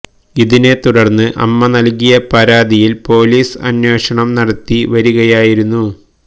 ഇതിനെ തുടർന്ന് അമ്മ നൽകിയ പരാതിയിൽ പോലീസ് അന്വേഷണം നടത്തി വരികയായിരുന്നു